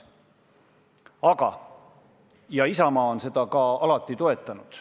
Ja Isamaa on seda ka alati toetanud.